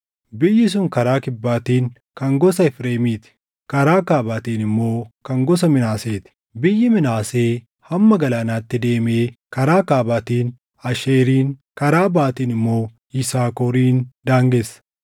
Biyyi sun karaa kibbaatiin kan gosa Efreemiiti; karaa kaabaatiin immoo kan gosa Minaasee ti. Biyyi Minaasee hamma galaanaatti deemee karaa kaabaatiin Aasheerin, karaa baʼaatiin immoo Yisaakorin daangeessa.